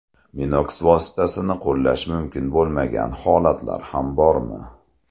Minox vositasini qo‘llash mumkin bo‘lmagan holatlar ham bormi?